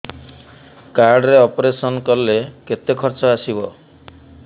card ରେ operation କଲେ କେତେ ଖର୍ଚ ଆସିବ